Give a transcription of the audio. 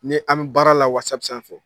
Ni an bɛ baara la sanfɛ.